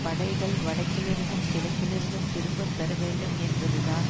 படைகள் வடக்கில் இருந்தும் கிழக்கில் இருந்தும் திரும்ப பெற வேண்டும் என்பதுதான்